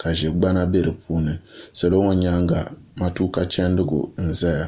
ka ʒɛ gbana bɛ di puuni salo ŋo nyanga matuuka chɛndigu n ʒɛya